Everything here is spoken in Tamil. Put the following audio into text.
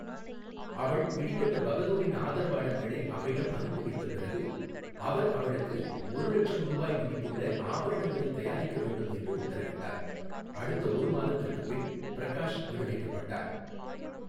அவள் பிடிபட்ட பகதூரின் ஆதரவாளர்களை அவரிடம் அனுப்பிவைத்த பிறகு, அவர் அவளுக்கு ஒரு லட்சம் ரூபாய் மதிப்புள்ள ஆபரணங்களைத் தயாரிக்க வேண்டும் என்று உத்தரவிட்டார், அடுத்த ஒரு மாதத்திற்குப் பின் பிரகாஷ் விடுவிக்கப்பட்டார்.